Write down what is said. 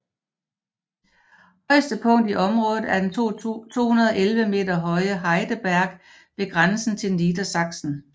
Højeste punkt i området er den 211 meter høje Heideberg ved grænsen til Niedersachsen